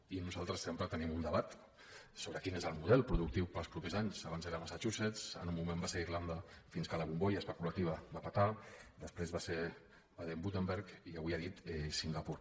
i nosaltres sempre tenim un debat sobre quin és el model productiu per als propers anys abans era massachusetts en un moment va ser irlanda fins que la bombolla especulativa va petar després va ser baden württemberg i avui ha dit singapur